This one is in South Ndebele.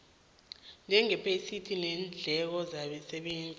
njengephesenti leendleko zabasebenzi